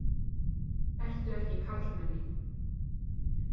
Ertu ekki karlmenni?